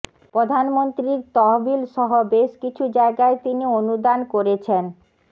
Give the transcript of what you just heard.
প্রধানমন্ত্রীর তহবিল সহ বেশ কিছু জায়গায় তিনি অনুদান করেছেন